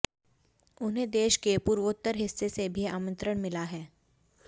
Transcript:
उन्हें देश के पूर्वोत्तर हिस्से से भी आमंत्रण मिला है